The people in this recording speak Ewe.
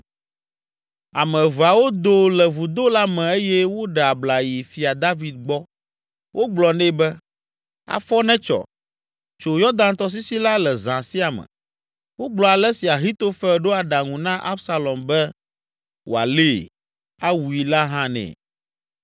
Ame eveawo do le vudo la me eye woɖe abla yi Fia David gbɔ. Wogblɔ nɛ be, “Afɔ netsɔ! Tso Yɔdan tɔsisi la le zã sia me.” Wogblɔ ale si Ahitofel ɖo aɖaŋu na Absalom be wòalée, awui la hã nɛ.